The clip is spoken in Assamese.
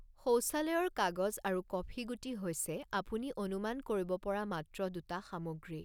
শৌচালয়ৰ কাগজ আৰু কফি গুটি হৈছে আপুনি অনুমান কৰিব পৰা মাত্ৰ দুটা সামগ্ৰী।